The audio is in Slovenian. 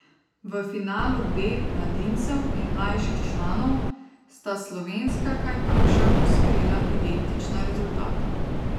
V finalu B mladincev in mlajših članov sta slovenska kajakaša osvojila identična rezultata.